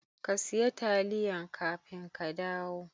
ka siya taliyan kafin ka kadawo.